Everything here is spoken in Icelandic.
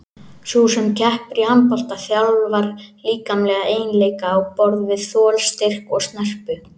Sú sem keppir í handbolta þjálfar líkamlega eiginleika á borð við þol, styrk og snerpu.